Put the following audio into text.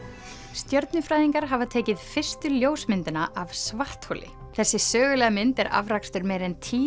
stjörnufræðingar hafa tekið fyrstu ljósmyndina af svartholi þessi sögulega mynd er afrakstur meira en tíu